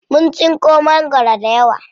Mun tsinko mangwaro dayawa.